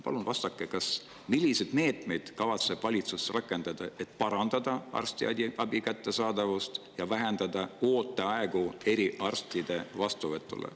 Palun vastake, milliseid meetmeid kavatseb valitsus rakendada, et parandada arstiabi kättesaadavust ja vähendada ooteaegu eriarstide vastuvõtule.